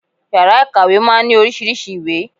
Yàrá ìkàwé máa ń ní oríṣiríṣei ìwé